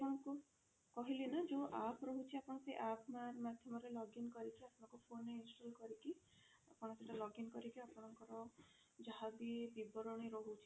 ଆପଣଙ୍କୁ କହିଲି ନା ଯୋଊ app ରହୁଛି ଆପଣ ସେଇ app ମାଧ୍ୟମରେ login କରିକି ଆପଣଙ୍କ phone ରେ install କରିକି ଆପଣ ସେଟା login କରିକି ଆପଣଙ୍କର ଯାହା ବି ବିବରଣୀ ରହୁଛି